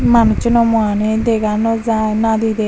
manucchuno muani dega no jai nadi dei.